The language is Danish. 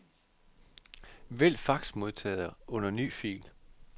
Vælg faxmodtager under ny fil.